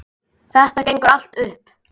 Þetta gengur allt upp.